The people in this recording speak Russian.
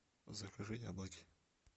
закажи яблоки